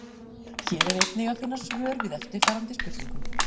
Hér er einnig að finna svör við eftirfarandi spurningum: